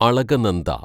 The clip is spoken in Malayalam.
അളകനന്ദ